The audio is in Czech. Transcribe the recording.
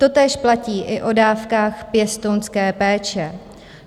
Totéž platí i o dávkách pěstounské péče.